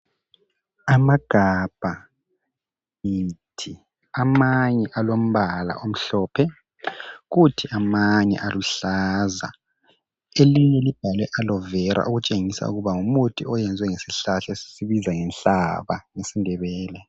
Amagabha ngithi, amanye alombala omhlophe kuthi amanye aluhlaza. Elinye libhalwe Aloe Vera okutshengisa ukuba ngumuthi oyenzwe ngesihlahla esibizwa ngenhlaba ngesiNdebele.